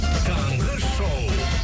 таңғы шоу